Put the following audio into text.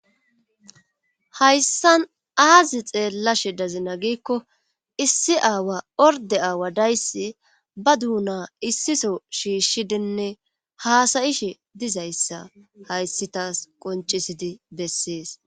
Hayssan aazi xeella she dazina giikko issi aawa orde aawa dayssi ba duuna issiso shiishshidinne haasayishe dizayssa hayssitaas qoncisidi bessees.